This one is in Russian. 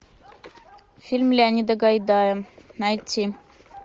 фильм леонида гайдая найти